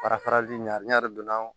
Fara farali ɲa n'a yɛrɛ donna